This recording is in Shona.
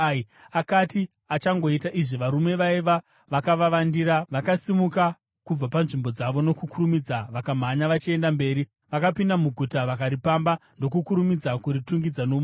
Akati achangoita izvi varume vaiva vakavandira vakasimuka kubva panzvimbo dzavo nokukurumidza vakamhanya vachienda mberi. Vakapinda muguta vakaripamba ndokukurumidza kuritungidza nomoto.